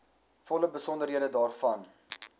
volle besonderhede daarvan